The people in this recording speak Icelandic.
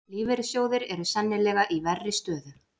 Lífeyrissjóðir eru sennilega í verri stöðu